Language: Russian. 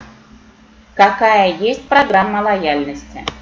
какая есть программа лояльности